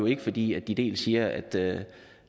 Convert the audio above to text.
ikke fordi de dels siger at